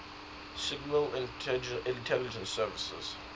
signal intelligence service